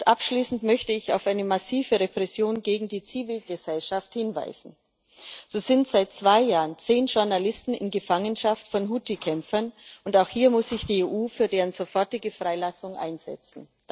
Abschließend möchte ich auf eine massive Repression gegen die Zivilgesellschaft hinweisen So sind seit zwei Jahren zehn Journalisten in Gefangenschaft von Huthi Kämpfern, und auch hier muss sich die EU für deren sofortige Freilassung einsetzen.